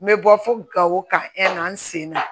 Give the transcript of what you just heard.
N bɛ bɔ fo gawo ka n sen na